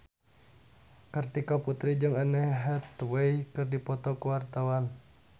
Kartika Putri jeung Anne Hathaway keur dipoto ku wartawan